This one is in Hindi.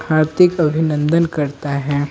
हार्दिक अभिनंदन करता है।